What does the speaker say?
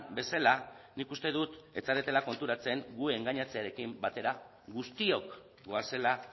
bezala nik uste dut ez zaretela konturatzen gu engainatzearekin batera guztiok goazela